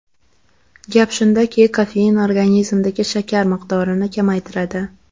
Gap shundaki, kofein organizmdagi shakar miqdorini kamaytiradi.